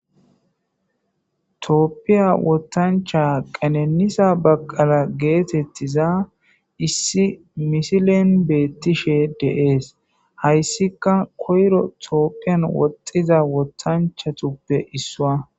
Tophiya wothancha qenenisa bekele getetiza issi misilen betishe de'es. Haysika koyro tophiyan woxiza wothanchatuppe issuwakko